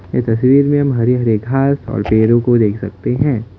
इस तस्वीर में हम हरे भरे घास और पेड़ों को देख सकते हैं।